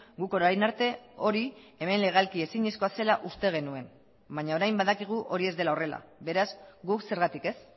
guk orain arte hori hemen legalki ezinezkoa zela uste genuen baina orain badakigu hori ez dela horrela beraz guk zergatik ez